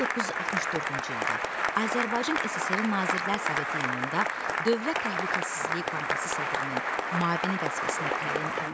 1964-cü ildə Azərbaycan SSR Nazirlər Soveti yanında Dövlət Təhlükəsizliyi Komitəsi sədrinin müavini vəzifəsinə təyin olundu.